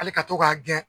Hali ka to k'a gɛn